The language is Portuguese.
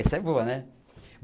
Essa é boa, né?